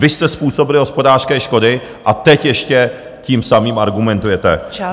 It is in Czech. Vy jste způsobili hospodářské škody, a teď ještě tím samým argumentujete.